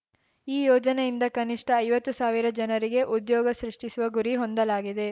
ಈ ಯೋಜನೆಯಿಂದ ಕನಿಷ್ಠ ಐವತ್ತು ಸಾವಿರ ಜನರಿಗೆ ಉದ್ಯೋಗ ಸೃಷ್ಠಿಸುವ ಗುರಿ ಹೊಂದಲಾಗಿದೆ